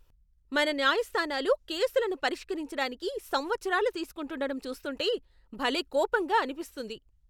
మన న్యాయస్థానాలు కేసులను పరిష్కరించడానికి సంవత్సరాలు తీస్కుంటుండటం చూస్తుంటే భలే కోపంగా అనిపిస్తుంది.